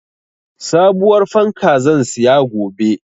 Sabuwar fanka zan siya gobe.